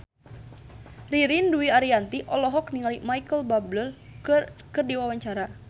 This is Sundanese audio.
Ririn Dwi Ariyanti olohok ningali Micheal Bubble keur diwawancara